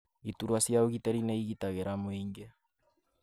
Iturwa cia ũgitĩri nĩ igitagĩra mũingĩ